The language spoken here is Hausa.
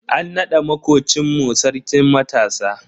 An nada makocin mu Sarkin matasa.